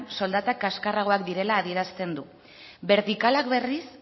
soldatak kaskarragoak direla adierazten du bertikalak berriz